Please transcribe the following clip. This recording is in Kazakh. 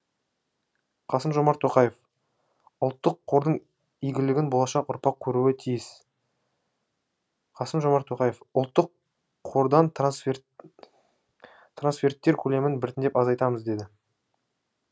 қасым жомарт тоқаев ұлттық қордың игілігін болашақ ұрпақ көруі тиіс қасым жомарт тоқаев ұлттық қордан трансферттер көлемін біртіндеп азайтамыз деді